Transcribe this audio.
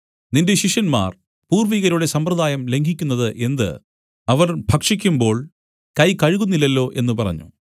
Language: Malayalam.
നിന്റെ ശിഷ്യന്മാർ പൂർവ്വികരുടെ സമ്പ്രദായം ലംഘിക്കുന്നത് എന്ത് അവർ ഭക്ഷിക്കുമ്പോൾ കൈ കഴുകുന്നില്ലല്ലോ എന്നു പറഞ്ഞു